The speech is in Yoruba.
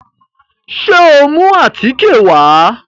Ṣé o mú àtíkè wá?